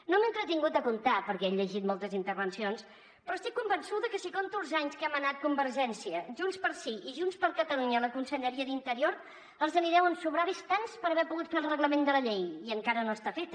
no m’he entretingut a comptar ho perquè he llegit moltes intervencions però estic convençuda que si compto els anys que ha manat convergència junts pel sí i junts per catalunya a la conselleria d’interior els en deuen sobrar bastants per haver pogut fer el reglament de la llei i encara no està fet